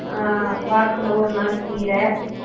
ஆஹ் வாரத்துல ஒரு நாள் கீர